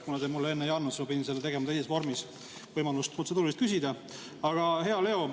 Kuna te mulle enne ei andnud, siis ma pidin tegema seda teises vormis, protseduurilist küsima.